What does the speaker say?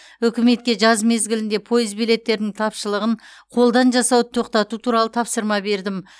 үкіметке жаз мезгілінде пойыз билеттерінің тапшылығын қолдан жасауды тоқтату туралы тапсырма бердім